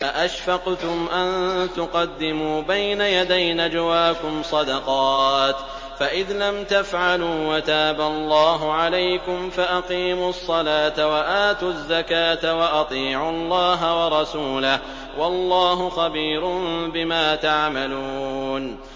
أَأَشْفَقْتُمْ أَن تُقَدِّمُوا بَيْنَ يَدَيْ نَجْوَاكُمْ صَدَقَاتٍ ۚ فَإِذْ لَمْ تَفْعَلُوا وَتَابَ اللَّهُ عَلَيْكُمْ فَأَقِيمُوا الصَّلَاةَ وَآتُوا الزَّكَاةَ وَأَطِيعُوا اللَّهَ وَرَسُولَهُ ۚ وَاللَّهُ خَبِيرٌ بِمَا تَعْمَلُونَ